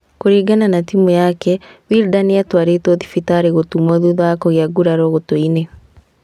Kũringana na timũ yake, Wilder nĩatwarĩtwo thibitarĩ gũtumwo thutha wa kũgĩa nguraro gũtũ-inĩ